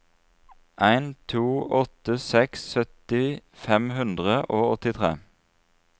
en to åtte seks sytti fem hundre og åttitre